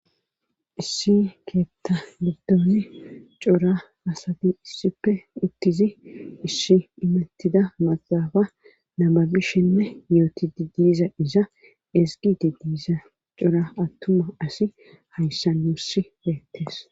issi keetta giddon cora asati issippe uttizi issi imettida maxafa nababishenne yootidi diiza iza esgidi diiza cora attuma asi hayssan nuss beettes.